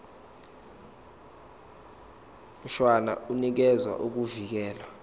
mshwana unikeza ukuvikelwa